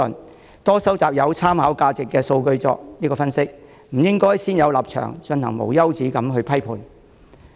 大家應多收集有參考價值的數據作分析，不應先入為主而不斷批判。